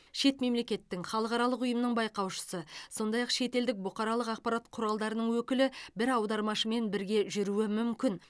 шет мемлекеттің халықаралық ұйымның байқаушысы сондай ақ шетелдік бұқаралық ақпарат құралының өкілі бір аудармашымен бірге жүруі мүмкін